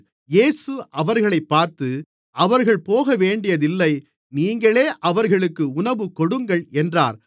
இயேசு அவர்களைப் பார்த்து அவர்கள் போகவேண்டியதில்லை நீங்களே அவர்களுக்கு உணவுகொடுங்கள் என்றார்